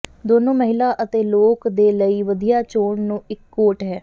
ਦੋਨੋ ਮਹਿਲਾ ਅਤੇ ਲੋਕ ਦੇ ਲਈ ਵਧੀਆ ਚੋਣ ਨੂੰ ਇੱਕ ਕੋਟ ਹੈ